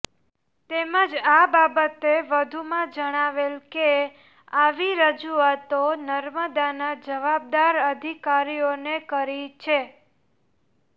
તેમજ આ બાબતે વધુમાં જણાવેલ કે આવી રજૂઆતો નર્મદાના જવાબદાર અધિકારીઓને કરી છે